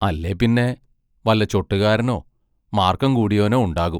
അല്ലേപ്പിന്നെ വല്ല ചൊട്ട് കാരനോ, മാർക്കം കൂടിയോനോ ഉണ്ടാകും.